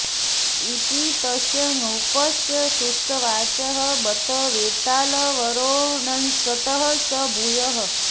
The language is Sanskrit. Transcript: इति तस्य नृपस्य सृष्टवाचः बत वेतालवरोऽंसतः स भूयः